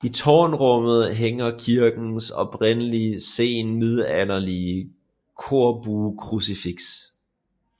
I tårnrummet hænger kirkens oprindelige senmiddelalderlige korbuekrucifiks